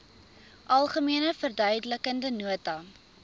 algemene verduidelikende nota